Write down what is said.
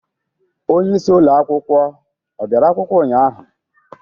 Onye isi ụlọ akwụkwọ ọ bịara ụlọ akwụkwọ ụnyaahụ?